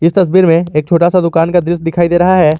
इस तस्वीर में एक छोटा सा दुकान का दृश्य दिखाई दे रहा है।